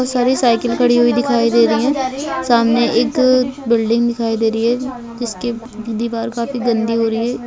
बहुत सारी साइकिल खड़ी दिखाई दे रही है सामने एक बिल्डिंग दिखी दे रही है जिस के दीवार काफी गन्दी हो रखी है